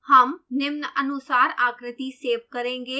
हम निम्नानुसार आकृति सेव करेंगे